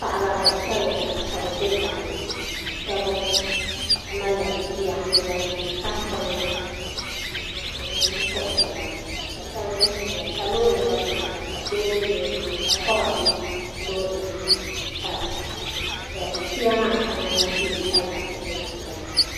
Paɣiba gbansabila nyɛ ba ka bi bɛ daa ni shɛba malila tuya n zaŋ niŋ tahi pɔŋna ni n puɣisira ka shɛba zi n ziya bi yɛanga ka doo bɛ loori maa ni ka kɔba bɛ loori maa ni ka tuya maa ahɛŋa na bɛ kpalansi ni zan zaya.